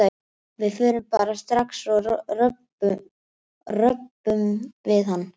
Við förum bara strax og röbbum við hann.